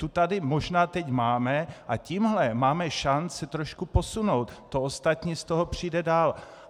Tu tady možná teď máme a tímto máme šanci trošku posunout, to ostatní z toho přijde dál.